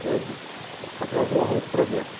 Coisa para para trazer o arroz para dentro.